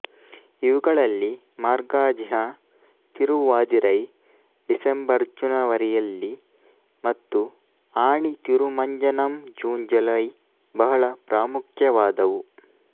ಇವುಗಳಲ್ಲಿ ಮಾರ್ಗಜಿಃ ತಿರುವಾಧಿರೈ ಡಿಸೆಂಬರ್ಜನವರಿಯಲ್ಲಿ ಮತ್ತು ಆಣಿ ತಿರುಮಂಜನಂ ಜೂನ್ಜುಲೈ ಬಹಳ ಪ್ರಾಮುಖ್ಯವಾದವು